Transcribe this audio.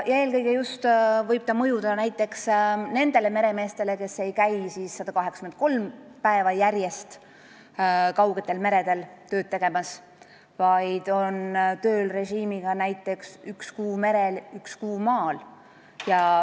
Eelkõige võib see mõjutada neid meremehi, kes ei käi 183 päeva järjest kaugetel meredel tööd tegemas, kelle töörežiim on näiteks üks kuu merel, üks kuu maal.